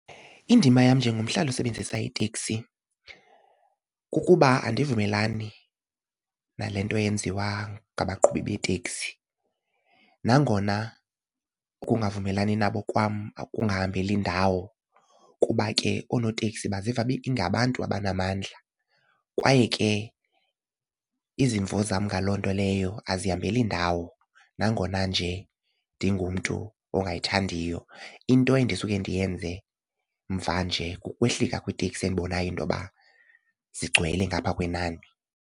Indima yam njengomhlali osebenzisa iteksi kukuba andivumelani nale nto yenziwa ngabaqhubi beeteksi nangona ukungavumelani nabo kwam kungahambeli ndawo kuba ke oonoteksi baziva bengabantu abanamandla kwaye ke izimvo zam ngaloo nto leyo azihambeli ndawo, nangona nje ndingumntu ongayithandiyo. Into endisuka ndiyenze mvanje kukwehlika kwiteksi endibonayo into yoba sigcwele ngapha kwenani.